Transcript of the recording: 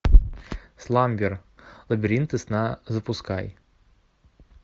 сламбер лабиринты сна запускай